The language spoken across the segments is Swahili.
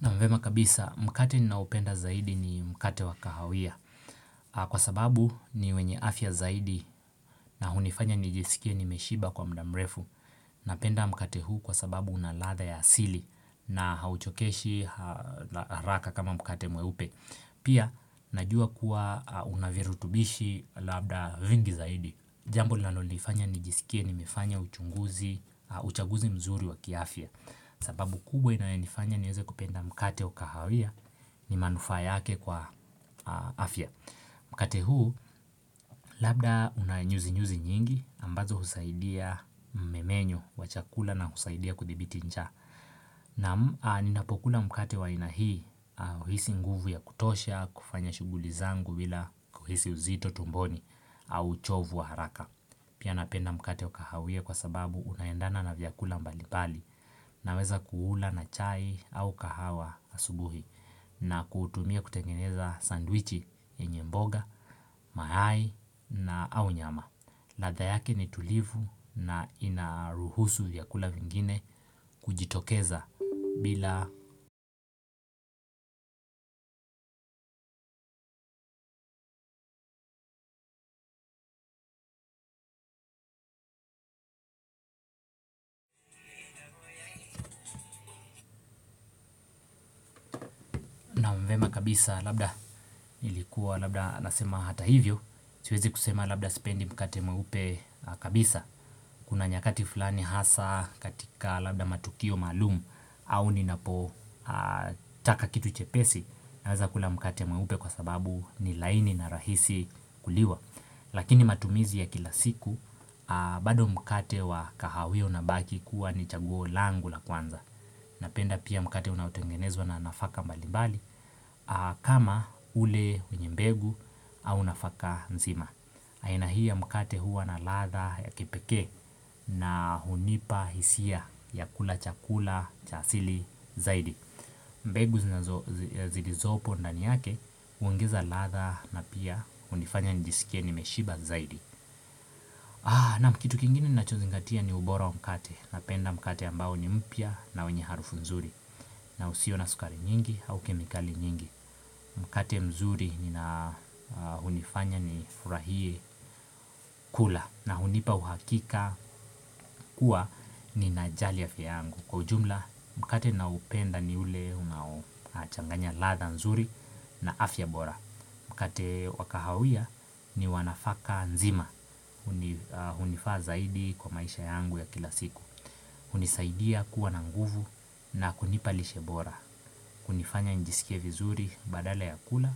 Ni vyema kabisa, mkate ninaopenda zaidi ni mkate wa kahawia. Kwa sababu ni wenye afya zaidi na hufanya nijiskie nimeshiba kwa muda mrefu napenda mkate huunkwa sababu una ladha ya asili na hauchokeshi haraka kama mkate mweupe. Pia, najua kuwa unavirutubishi labda vingi zaidi. Jambo linalonifanya nijiskie nimefanya uchaguzi mzuri wa kiafya. Sababu kubwa inayonifanya nieze kupenda mkate wa kahawia ni manufaa yake kwa afya. Mkate huu labda una nyuzi nyuzi nyingi ambazo husaidia mmenyo wa chakula na husaidia kudhibiti njaanNa ninapokula mkate wa aia hii huhisi nguvu ya kutosha, kufanya shughuli zangu bila kuhisi uzito tumboni au uchovu wa haraka. Pia napenda mkate wa kahawia kwa sababu unaendana na vyakula mbali mbali naweza kuula na chai au kahawa asubuhi. Na kuutumia kutengeneza sandwichi yenye mboga, mayai au nyama. Ladha yake ni tulivu na inaruhusu vyakula vingine kujitokeza bila vyema kabisa labda nilikuwa labda nasema hata hivyo. Siwezi kusema labda sipendi mkate mweupe kabisa kuna nyakati fulani hasa labda katika matukio maalum. Au ninapo taka kitu chepesi naweza kula mkate mweupe kwa sababu ni laini na rahisi kuliwa lakini matumizi ya kila siku. Bado mkate wa kahawia unabaki kuwa ni chaguo langu la kwanza. Napenda pia mkate unaotengenezwa na nafaka mbali mbali. Kama ule wenye mbegu au nafaka nzima aina hii ya mkate huwa na ladha ya kipekee na hunipa hisia ya kula chakula cha asili zaidi. Mbegu zilizopo ndani yake huongeza ladha na pia hunifanya nijisikie nimeshiba zaidi. Naam kitu kingine nachozingatia ni ubora wa mkate napenda mkate ambao ni mpya na wenye harufu nzuri. Na usiyo na sukari nyingi au kemikali nyingi mkate mzuri hunifanya nifurahie kula na hunipa uhakika kuwa ninajali afya. Kwa ujumla mkate naoupenda ni ule unachanganya ladha nzuri na afya bora. Mkate wa kahawia ni wanafaka nzima hunifaa zaidi kwa maisha yangu ya kila siku hunisaidia kuwa na nguvu na kunipa lishe bora hunifanya njisikie vizuri badala ya kula.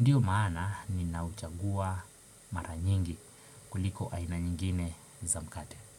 Ndiyo maana ninauchagua mara nyingi kuliko aina nyingine za mkate.